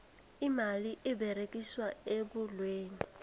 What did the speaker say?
imali eberegiswa ebholweni